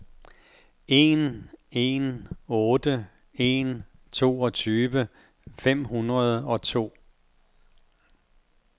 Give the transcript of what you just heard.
en en otte en toogtyve fem hundrede og to